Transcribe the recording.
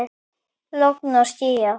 Logn og skýjað.